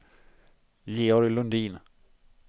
Georg Lundin